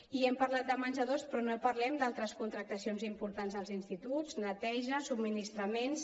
i hem parlat de menjadors i no parlem d’altres contractacions importants als instituts neteja subministraments